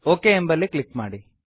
okay ಎಂಬಲ್ಲಿ click ಮಾಡಿ